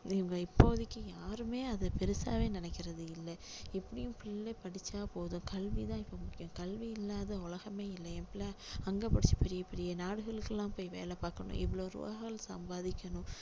இவங்க இப்போதைக்கு யாருமே அதை பெருசாவே நினைக்கிறது இல்ல எப்படியும் பிள்ளை படிச்சா போதும் கல்வி தான் இப்போ முக்கியம் கல்வி இல்லாத உலகமே இல்லை என் பிள்ளை அங்க படிச்சு பெரிய பெரிய நாடுகளுக்கு எல்லாம் போய் வேலை பார்க்கணும் இவ்ளோ ரூபாய்கள் சம்பாதிக்கணும்